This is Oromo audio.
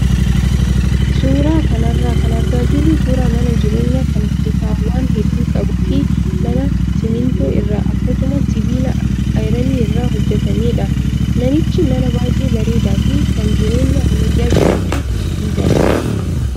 Suuraa kanarraa kan argaa jirru suuraa mana jireenyaa kan kutaawwan hedduu qabuu fi mana simmintoo irraa akkasumas sibiila ayiranii irraa hojjatamedha. Manichi mana baay'ee bareedaa fi kan jireenya ammayyaa jiraachuuf mijatudha.